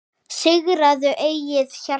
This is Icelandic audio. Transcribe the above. Sigraðu eigið hjarta